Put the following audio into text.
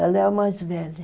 Ela é a mais velha.